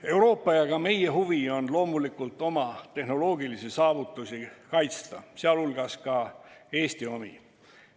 Euroopa ja ka meie huvi on loomulikult kaitsta oma tehnoloogilisi saavutusi, sh Eesti omi.